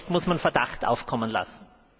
Und zu Recht muss man Verdacht aufkommen lassen.